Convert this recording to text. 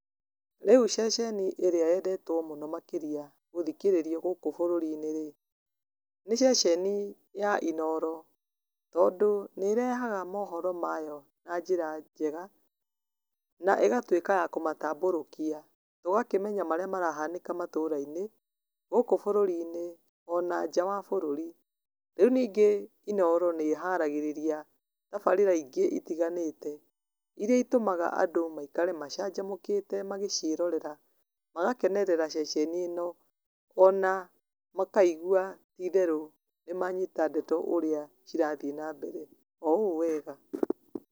Rĩu ceceni ĩrĩa yendetwo mũno makĩria gũthikĩrĩrio gũkũ bũrũri-inĩ rĩ nĩ ceceni ya inoro tondũ nĩ ĩrehaga mohoro mayo na njĩra njega na ĩgatuika ya kũmatambũrũkia, tũkakĩmenya maria marahanĩka matũrainĩ ,gũkũ bũrũri-inĩ ona nja wa bũrũri. Rĩu ningĩ inoro nĩ ĩharagĩrĩria tabarĩra ingĩ itiganĩte iria itũmaga andũ maikare macanjamũkĩte magĩciĩrorera magakenerera ceceni ĩno ona makaigua ti itherũ nĩ manyita ndeto ũrĩa cirathiĩ na mbere o ũũ wega.